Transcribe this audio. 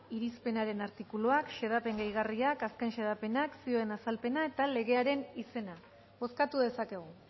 irizpenaren artikuluak xedapen gehigarriak azken xedapenak zioen azalpena eta legearen izena bozkatu dezakegu